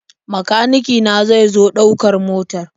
Makanike na zai zo ɗaukar motar.